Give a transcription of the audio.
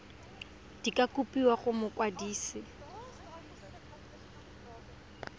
di ka kopiwa go mokwadise